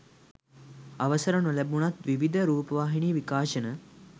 අවසර නොලැබුණත් විවිධ රූපවාහිනි විකාශන